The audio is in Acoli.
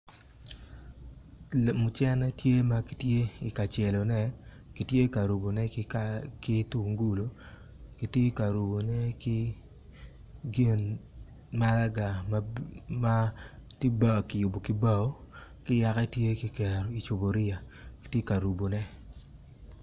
Mucene tye ma kitye ka celone kitye ka rubone ki tungulu kitye ka rubone ki gin malaga ma kiyubone ki bao ki yaka tye kiketogi i cuporia kitye ka rubone.